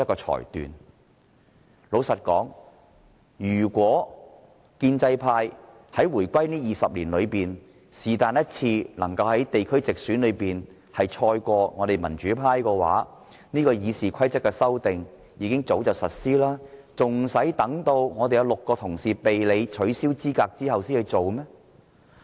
坦白說，如果建制派在回歸後的20年，能在地區直選中勝過民主派，便早已修訂了《議事規則》，還需待民主派有6位議員被取消資格之後才提出嗎？